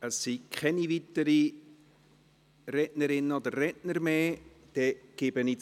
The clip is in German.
Es haben sich keine weiteren Rednerinnen und Redner gemeldet.